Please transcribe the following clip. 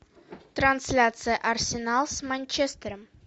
трансляция арсенал с манчестером